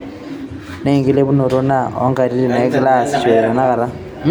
Naa enkilepunoto ena oontokitin nagirai aasishore tenakata.